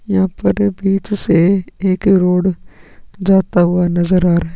यहां पर बहुत ही एक रोड जाता हुआ नजर आ रहा है।